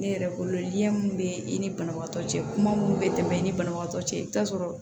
Ne yɛrɛ bolo li minnu bɛ i ni banabagatɔ cɛ kuma minnu bɛ tɛmɛ i ni banabagatɔ cɛ i bɛ taa sɔrɔ